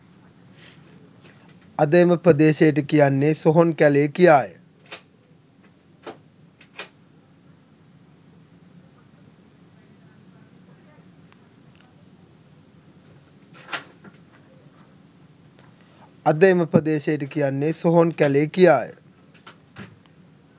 අද එම ප්‍රදේශයට කියන්නේ සොහොන් කැලේ කිියාය